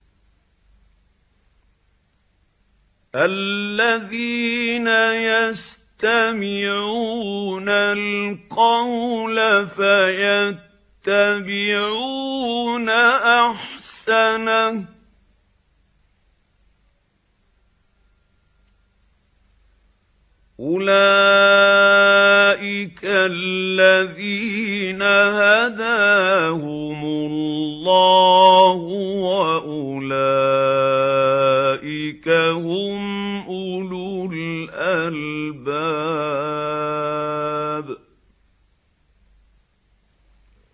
الَّذِينَ يَسْتَمِعُونَ الْقَوْلَ فَيَتَّبِعُونَ أَحْسَنَهُ ۚ أُولَٰئِكَ الَّذِينَ هَدَاهُمُ اللَّهُ ۖ وَأُولَٰئِكَ هُمْ أُولُو الْأَلْبَابِ